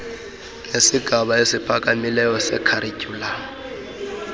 nesigaba esiphakamileyo sekharityhulamu